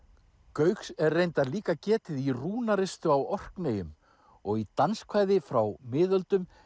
gauks er reyndar líka getið í rúnaristu á Orkneyjum og í frá miðöldum